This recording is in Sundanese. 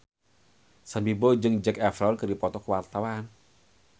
Sam Bimbo jeung Zac Efron keur dipoto ku wartawan